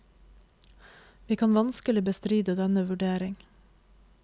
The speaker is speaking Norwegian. Vi kan vanskelig bestride denne vurdering.